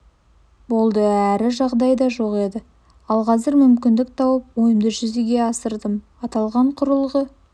болды әрі жағдай да жоқ еді ал қазір мүмкіндік туып ойымды жүзеге асырдым аталған құрылғы